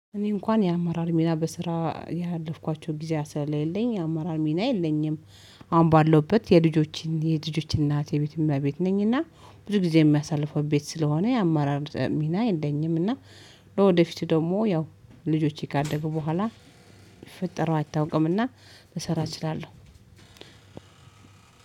እኔ እንኳን የአመራር ሚና በስራ ያለፍኳቸው ጊዜ ስለሌ ለኝ የአማራር ሚና የለኝም። አሁን ባለውበት የልጆችን የልጆች እናት የቤት እመቤት ነኝና ብዙ ጊዜ የሚያሳልፈው ቤት ስለሆነ የአማራር ሚና የለኝም እና ወደፊት ደግሞ ያው ልጆቼ ካደጉ በኋላ ፈጠረው አይታወቅም እና ልሰራ እችላለሁ